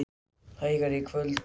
Hægari í kvöld og úrkomulítið